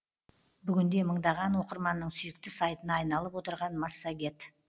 бүгінде мыңдаған оқырманның сүйікті сайтына айналып отырған массагет